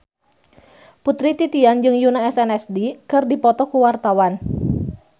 Putri Titian jeung Yoona SNSD keur dipoto ku wartawan